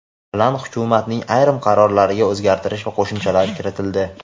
bilan Hukumatning ayrim qarorlariga o‘zgartirish va qo‘shimchalar kiritildi.